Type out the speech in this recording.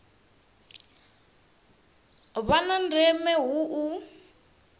vha na ndeme hu u